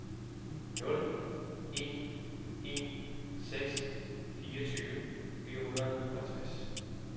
nul en en seks fireogtyve fire hundrede og halvtreds